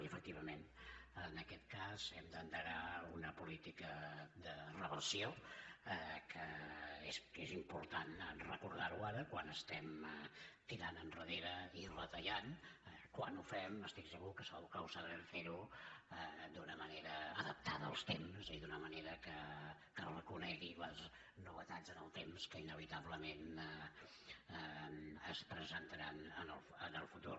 i efectivament en aquest cas hem d’endegar una política de reversió que és important recordar ho ara quan estem tirant endarrere i retallant quan ho fem estic segur que ho sabrem fer d’una manera adaptada als temps i d’una manera que reconegui les novetats en el temps que inevitablement es presentaran en el futur